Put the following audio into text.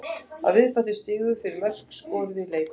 Að viðbættum stigum fyrir mörk skoruð í leik.